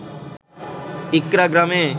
ইকড়া গ্রামে